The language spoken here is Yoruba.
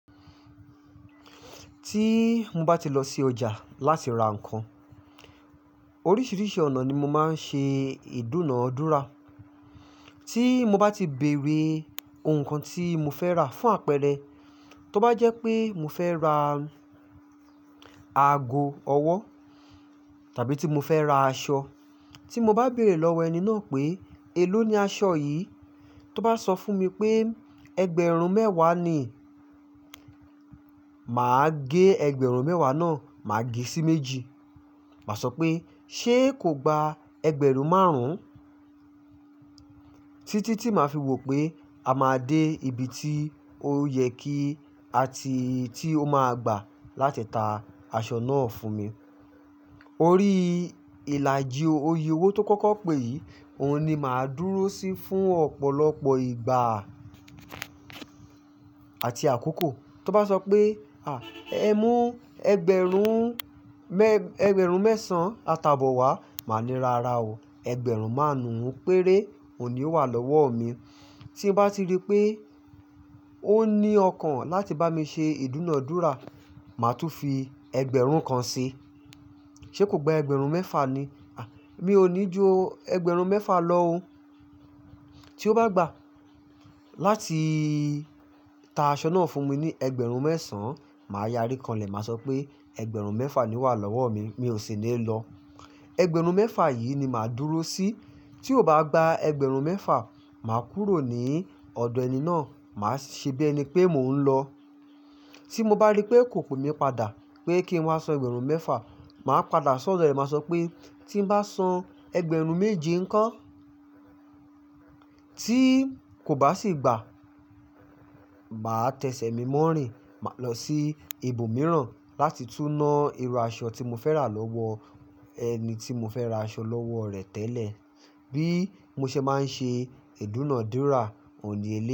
Tí mo bá ti lọ sí ọjà láti ra nǹkan, oríṣiríṣi ọ̀nà ni mo máa ń ṣe ìdúnàádúrà. Tí mo bá ti bèrè ǹkan tí mo fẹ́ rà fún àpẹẹrẹ, tó bá jẹ́ pé mo fẹ́ ra ago ọwọ́ tàbí tí mo fẹ́ ra aṣọ. Tí mo bá bèrè lọ́wọ́ ẹni náà pé, "èló ni aṣọ yìí?" Tó bá sọ fún mi pé ẹgbẹ̀rún mẹ́wàá ni, mà á gẹ ẹgbẹ̀rún mẹ́wàá náà, mà á gẹ̀ sí méjì. Mà a sọ pé, "ṣé kò gba ẹgbẹ̀rún márùn-ún?" Títí tí màá fi wò pé a máa dé ibi tí ó yẹ kí a ti-- tí ó máa gbà láti ta aṣọ náà fún mi. Orí ìlàjì òye owó tó kọ́kọ́ pè yìí, òun ni mà á dúró sí fún ọ̀pọ̀lọpọ̀ ìgbà àti àkókò. Tó bá sọ pé, "à, ẹ mú ẹgbẹ̀rún mẹ́, ẹgbẹ̀rún mẹ́sàn-án ata bọ wá", mà á ní, "ràrá o, ẹgbẹ̀rún márùn-ún péré òun ní ó wà lọ́wọ́ mi". Tí mo bá ti rí pé ó ní ọkàn láti bá mi ṣe ìdúnàádúrà, mà á tún fi ẹgbẹ̀rún kan sí i. "Ṣé kò gba ẹgbẹ̀rún mẹ́fà ni? À, mi ò ní ju ẹgbẹ̀rún mẹ́fà lọ o." Tí ó bá gbà láti ta aṣọ náà fún mi ní ẹgbẹ̀rún mẹ́sàn, mà á yárí kànlẹ̀. Mà a sọ pé, "ẹgbẹ̀rún mẹ́fà ni o wà lọ́wọ́ mi, mi ò sì ní lo lọ". Ẹgbẹ̀rún mẹ́fà yìí ni mà á dúró sí. Tí ò bá gba ẹgbẹ̀rún mẹ́fà, mà á kúrò ní ọ̀dọ̀ ẹni náà, mà á ṣebí ẹni pé mò ń lọ. Tí mo bá rí pé kò pmí padà pé kí nmá san ẹgbẹ̀rún mẹ́fà, mà á padà sódọ̀ rẹ̀. Mà a sọ pé, "tí n bá san ẹgbẹ̀rún méje ńko tí kò bá sì gbà, màá tẹ̀sẹ̀ mi mọ́ rìn". Mà á lọ sí ibòmíràn láti túná irú aṣọ tí mo fẹ́ rà lọ́wọ ẹni tí mo fẹ́ ra aṣọ lọ́wọ́ rẹ̀ tẹ́lẹ̀. Bí mó ṣe má ń ṣe ìdúnàádúrà, òun ní eléyìí.